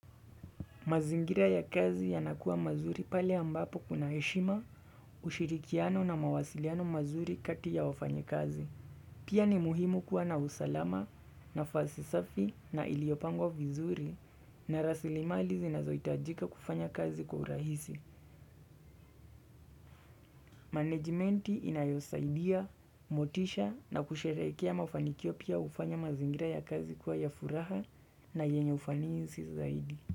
Mazingira ya kazi yanakua mazuri pale ambapo kuna heshima ushirikiano na mawasiliano mazuri kati ya wafanyikazi. Pia ni muhimu kuwa na usalama nafasi safi na iliopangwa vizuri na rasilimali zinazo itajika kufanya kazi kwa urahisi. Managementi inayosaidia, motisha na kusherekea mafanikio pia ufanya mazingira ya kazi kuwa ya furaha na yenye ufanizi zaidi.